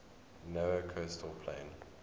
narrow coastal plain